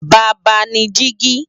Baba ni digi